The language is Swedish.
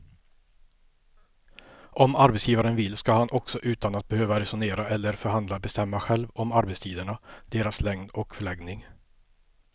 Om arbetsgivaren vill ska han också utan att behöva resonera eller förhandla bestämma själv om arbetstiderna, deras längd och förläggning.